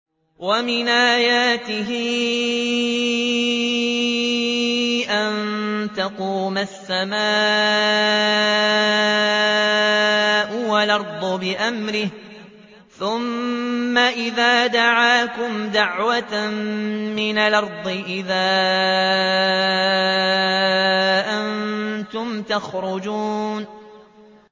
وَمِنْ آيَاتِهِ أَن تَقُومَ السَّمَاءُ وَالْأَرْضُ بِأَمْرِهِ ۚ ثُمَّ إِذَا دَعَاكُمْ دَعْوَةً مِّنَ الْأَرْضِ إِذَا أَنتُمْ تَخْرُجُونَ